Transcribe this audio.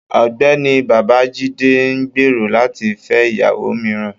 Ọgbẹni Babajide n gbero lati fẹ iyawo miiran